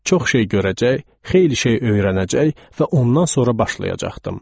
Çox şey görəcək, xeyli şey öyrənəcək və ondan sonra başlayacaqdım.